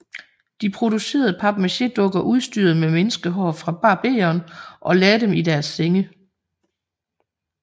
De producerede papmachédukker udstyrede med menneskehår fra barberen og lagde dem i deres senge